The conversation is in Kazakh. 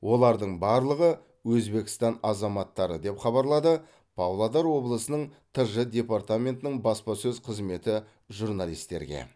олардың барлығы өзбекстан азаматтары деп хабарлады павлодар облысының тж департаментінің баспасөз қызметі журналистерге